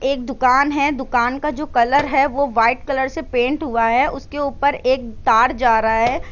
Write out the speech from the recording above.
एक दुकान है दुकान का जो कलर है वो वाइट कलर से पेंट हुआ है उसके ऊपर एक तार जा रहा है।